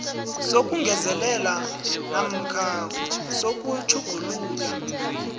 sokungezelela namkha sokutjhugulula